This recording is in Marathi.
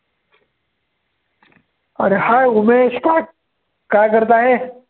अरे! Hi उमेश, काय- काय करत आहे?